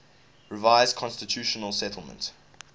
revised constitutional settlement